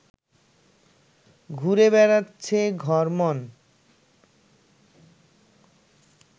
ঘুরে বেড়াচ্ছে ঘরময়